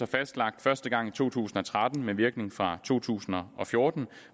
fastlagt første gang i to tusind og tretten med virkning fra to tusind og og fjorten